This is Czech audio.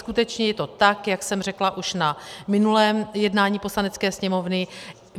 Skutečně je to tak, jak jsem řekla už na minulém jednání Poslanecké sněmovny.